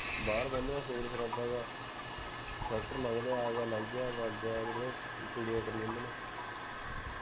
ਬਾਹਰ ਜਾਨੇ ਹਾਂ ਖੂਨ ਖਰਾਬਾ ਜੇਹਾ ਟ੍ਰੈਕ੍ਟਰ ਲੰਘਦੇ ਹੈ ਆ ਗਿਆ ਲੰਘ ਗਿਆ ਮਰ ਗਿਆ ਕੁੜੀਆਂ ਕਰੀ ਜਾਂਦੇ ਹੈਂ